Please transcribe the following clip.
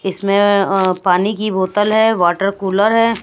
इसमें अ पानी की बोतल है वाटर कूलर है।